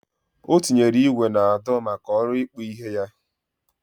O tinyere igwe na ado maka olu ikpụ ihe ya.